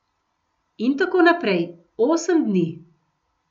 In tako naprej, osem dni.